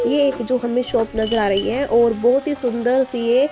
ये एक जो हमें शॉप नजर आ रही है और बहुत ही सुंदर सी ये--